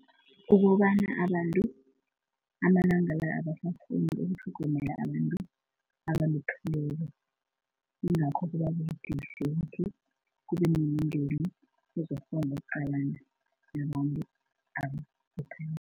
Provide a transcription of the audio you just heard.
Ukobana abantu amalanga la abasakghoni utlhogomela abantu abalupheleko. Yingakho kuba budisi ukuthi kube nemindeni ezokghona ukuqalana nabantu abalupheleko.